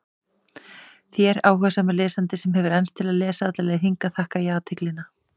Allt þetta og háskólamenntun að auki, reyndu að fá botn í það.